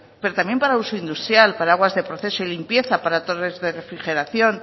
pero también para uso industrial para aguas de proceso y limpieza para torres de refrigeración